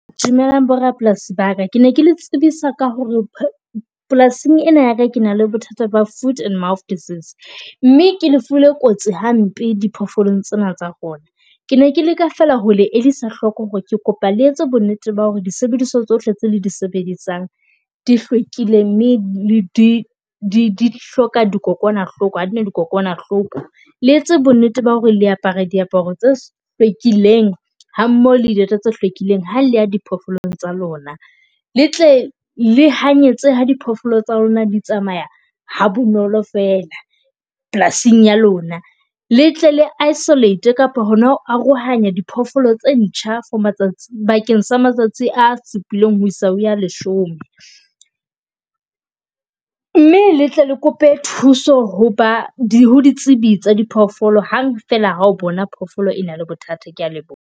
Dumelang borapolasi ba ka kene ke le tsebisa ka hore, polasing ena ya ka ke na le bothata ba Food and Mouth Disease mme ke lefu le kotsi hampe diphoofolong tsena tsa rona. Ke ne ke leka fela hole elisa hloko hore ke kopa le etse bo nnete ba hore di sebediswa tsohle tse le di sebedisang di hlwekile, mme di di hloka dikokwanahloko, ha dina dikokwanahloko. Le etse bo nnete ba hore le apara diaparo tse hlwekileng hammoho le dieta tse hlwekileng ha le ya diphoofolo tsa lona. Le tle le ha nyatseha diphoofolo tsa lona di tsamaya ha bonolo fela polasing ya lona. Le tle le isolate kapa hona ho arohanya diphoofolo tse ntjha for matsatsi bakeng sa matsatsi a supileng ho isa ho ya leshome mme le tle le kope thuso ho ba ditsebi tsa di phoofolo hang fela ho bona phofolo e na le bothata. Kea leboha.